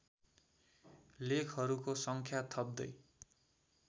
लेखहरूको सङ्ख्या थप्दै